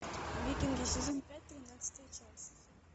викинги сезон пять тринадцатая часть